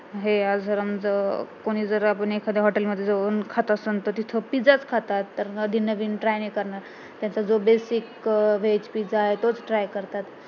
हे जर कुणी जर आपण एखाद्या hotel मध्ये जाऊन खात असणं तर तिथं pizza च खातात नवीन नवीन try नाही करत त्याचा जो basic veg pizza आहे तोच try करतात